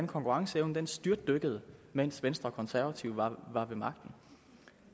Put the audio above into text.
konkurrenceevnen styrtdykkede mens venstre og konservative var ved magten